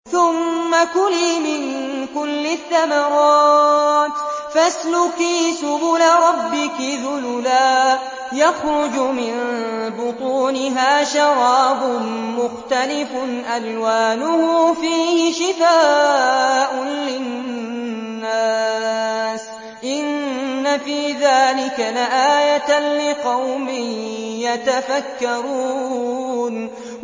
ثُمَّ كُلِي مِن كُلِّ الثَّمَرَاتِ فَاسْلُكِي سُبُلَ رَبِّكِ ذُلُلًا ۚ يَخْرُجُ مِن بُطُونِهَا شَرَابٌ مُّخْتَلِفٌ أَلْوَانُهُ فِيهِ شِفَاءٌ لِّلنَّاسِ ۗ إِنَّ فِي ذَٰلِكَ لَآيَةً لِّقَوْمٍ يَتَفَكَّرُونَ